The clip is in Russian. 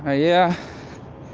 а я